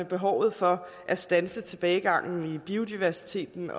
behovet for at standse tilbagegangen i biodiversiteten